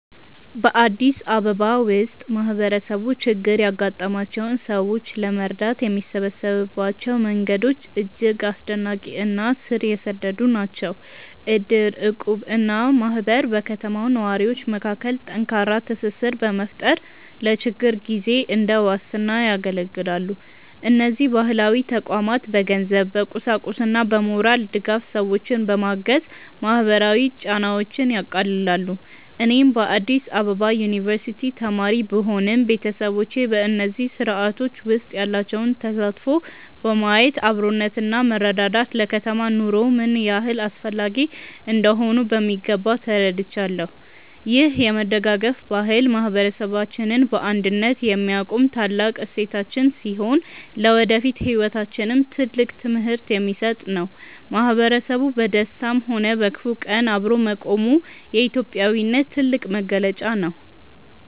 በአዲስ አበባ ውስጥ ማህበረሰቡ ችግር ያጋጠማቸውን ሰዎች ለመርዳት የሚሰበሰብባቸው መንገዶች እጅግ አስደናቂ እና ስር የሰደዱ ናቸው። እድር፣ እቁብ እና ማህበር በከተማው ነዋሪዎች መካከል ጠንካራ ትስስር በመፍጠር ለችግር ጊዜ እንደ ዋስትና ያገለግላሉ። እነዚህ ባህላዊ ተቋማት በገንዘብ፣ በቁሳቁስና በሞራል ድጋፍ ሰዎችን በማገዝ ማህበራዊ ጫናዎችን ያቃልላሉ። እኔም በአዲስ አበባ ዩኒቨርሲቲ ተማሪ ብሆንም፣ ቤተሰቦቼ በእነዚህ ስርአቶች ውስጥ ያላቸውን ተሳትፎ በማየት አብሮነትና መረዳዳት ለከተማ ኑሮ ምን ያህል አስፈላጊ እንደሆኑ በሚገባ ተረድቻለሁ። ይህ የመደጋገፍ ባህል ማህበረሰባችንን በአንድነት የሚያቆም ታላቅ እሴታችን ሲሆን፣ ለወደፊት ህይወታችንም ትልቅ ትምህርት የሚሰጥ ነው። ማህበረሰቡ በደስታም ሆነ በክፉ ቀን አብሮ መቆሙ የኢትዮጵያዊነት ትልቁ መገለጫ ነው።